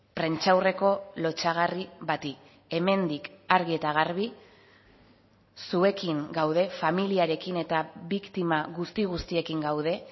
prentsaurreko lotsagarri bati hemendik argi eta garbi zuekin gaude familiarekin eta biktima guzti guztiekin gaude